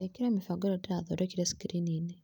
ĩkĩra mĩbango ĩrĩa ndirathondekire skrini-inĩ